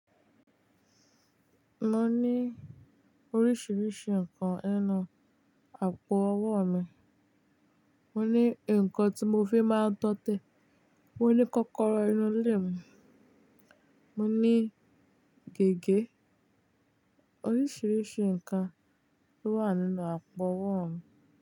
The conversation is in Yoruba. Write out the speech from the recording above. Mo ní oríṣiríṣi nǹkan nínú àpò owó mi. Mo ní nǹkan tí mo fi máa ń dọ́tẹ̀, mo ní kọ́kọ́rọ́ inú ilé mi, mo ní gègé. Oríṣiríṣi nǹkan ló wà nínú àpò owó mi.